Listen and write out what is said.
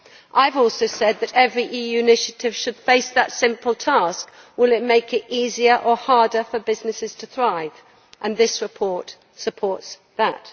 I have also said that every EU initiative should face the simple test will it make it easier or harder for businesses to thrive? This report supports that.